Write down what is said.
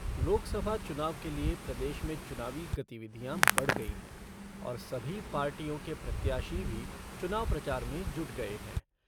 लोकसभा चुनाव के लिए प्रदेश में चुनावी गतिविधियां बढ़ गई हैं और सभी पार्टियों के प्रत्याशी भी चुनाव प्रचार में जुट गए हैं।